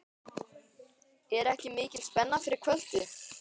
Er ekki mikil spenna fyrir kvöldið?